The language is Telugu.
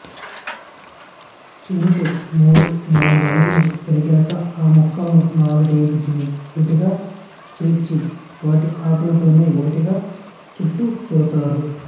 చెరకు మూడు నాలుగడుగులు పెరిగాక ఆ మొక్కలను నాలుగైదింటిని ఒకటిగా చేర్చి వాటి ఆకులతోనే ఒకటిగా చుట్టు తారు